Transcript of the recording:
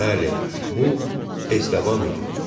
Bəli, bu Estabandı.